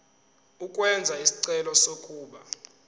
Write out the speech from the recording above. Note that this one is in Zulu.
ukwenza isicelo sokuba